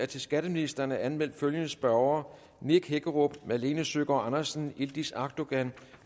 til skatteministeren er anmeldt følgende spørgere nick hækkerup malene søgaard andersen yildiz akdogan